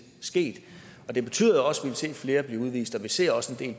sket og det betyder også vil se flere blive udvist vi ser også at en